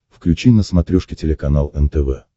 включи на смотрешке телеканал нтв